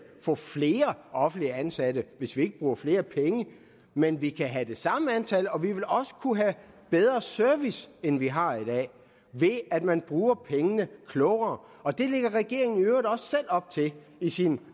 få flere offentligt ansatte hvis vi ikke bruger flere penge men vi kan have det samme antal og vi vil også kunne have bedre service end vi har i dag ved at man bruger pengene klogere og det lægger regeringen i øvrigt også selv op til i sine